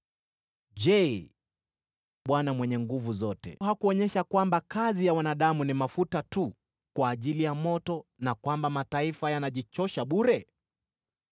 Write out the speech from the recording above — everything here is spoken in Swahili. Je, Bwana Mwenye Nguvu Zote hakuonyesha kwamba kazi ya wanadamu ni mafuta tu kwa ajili ya moto, na kwamba mataifa yanajichosha bure?